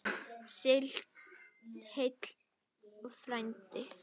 Sigl heill frændi.